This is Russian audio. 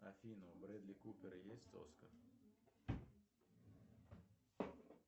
афина у бредли купера есть оскар